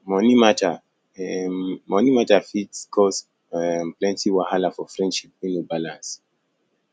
um moni mata um moni mata fit um cause um plenty wahala for friendship wey no balance